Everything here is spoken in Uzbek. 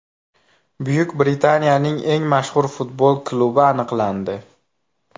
Buyuk Britaniyaning eng mashhur futbol klubi aniqlandi.